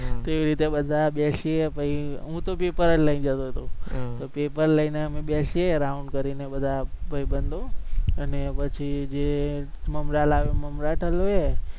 તે રીતે બધા બેસી ભાઈ હુતો પર લઈ જતો હતો. તો પેપર લઈ ને બેસીએ round કરી ને બધા ભાઈબંધો. અને પછી જે મમરા લાવે એ મમરા ટલવે